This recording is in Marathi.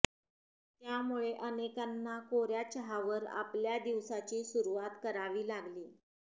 त्यामुळे अनेकांना कोऱ्या चहावर आपल्या दिवसाची सुरुवात करावी लागली